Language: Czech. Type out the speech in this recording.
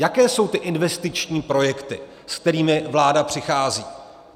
Jaké jsou ty investiční projekty, s kterými vláda přichází?